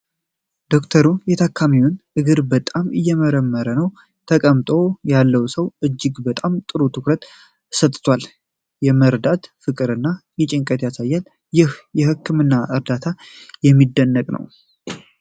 ዶክተሩ የታካሚውን እግር በጣም እየመረመረ ነው። ተቀምጦ ያለው ሰውዬ እጅግ በጣም ጥሩ ትኩረት ሰጥቷል። የመርዳት ፍቅርን እና ጭንቀትን ያሳያል። ይህ የሕክምና እርዳታ የሚደንቅ ነው።